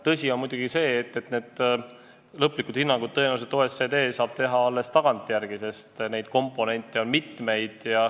Tõsi on muidugi see, et lõplikud hinnangud saab OECD anda tõenäoliselt alles tagantjärele, sest neid komponente on mitmeid.